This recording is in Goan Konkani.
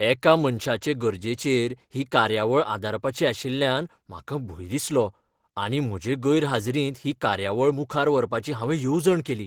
एका मनशाचे गरजेचेर ही कार्यावळ आदारपाची आशिल्ल्यान म्हाका भंय दिसलो आनी म्हजे गैरहाजीरींत ही कार्यावळ मुखार व्हरपाची हांवें येवजण केली.